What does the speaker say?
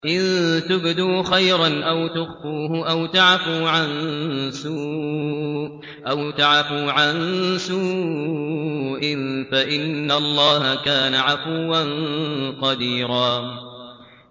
إِن تُبْدُوا خَيْرًا أَوْ تُخْفُوهُ أَوْ تَعْفُوا عَن سُوءٍ فَإِنَّ اللَّهَ كَانَ عَفُوًّا قَدِيرًا